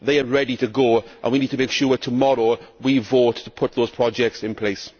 They are ready to go and we need to make sure that tomorrow we vote to put those projects in place.